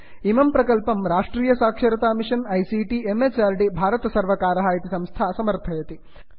इमं प्रकल्पं राष्ट्रियसाक्षरता मिषन् आईसीटी म्हृद् भारतसर्वर्कारः इति संस्था समर्थयति